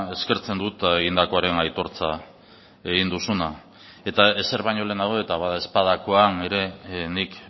eskertzen dut egindakoaren aitortza egin duzuna eta ezer baino lehenago eta badaezpadakoan ere nik